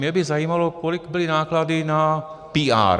Mě by zajímalo, kolik byly náklady na PR.